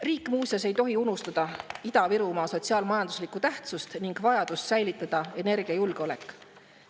Riik, muuseas, ei tohi unustada Ida-Virumaa sotsiaal-majanduslikku tähtsust ning vajadust säilitada energiajulgeolek.